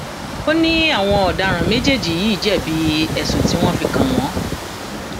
um ó ní àwọn ọdaràn méjèèjì yìí um jẹbi ẹsùn tí wọn fi kàn wọn